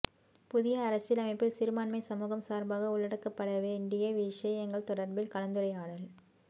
புதிய அரசியலமைப்பில் சிறுபான்மை சமூகம் சார்பாக உள்ளடக்கப்படவேண்டிய விடயங்கள் தொடர்பில் கலந்துரையாடல்